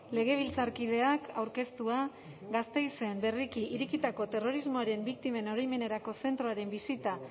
legebiltzarkideak aurkeztua gasteizen berriki irekitako terrorismoaren biktimen oroimenerako zentroaren bisita